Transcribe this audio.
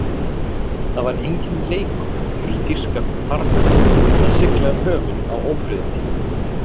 Það var enginn leikur fyrir þýska farmenn að sigla um höfin á ófriðartímum.